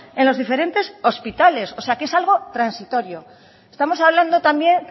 en los diferentes hospitales o sea que es algo transitorio estamos hablando también